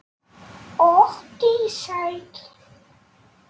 Og dísætt.